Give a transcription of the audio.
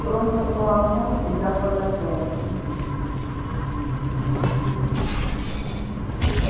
просто полоснул себя по запястью